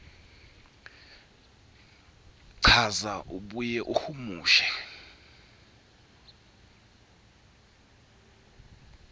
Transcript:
chaza abuye ahumushe